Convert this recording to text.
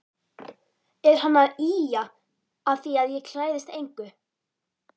Er hann að ýja að því að ég klæðist engu?